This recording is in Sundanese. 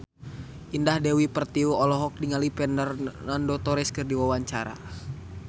Indah Dewi Pertiwi olohok ningali Fernando Torres keur diwawancara